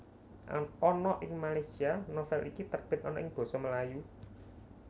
Ana ing Malaysia novel iki terbit ana ing basa Melayu